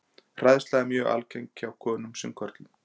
Hræðsla er mjög algeng hjá konum sem körlum.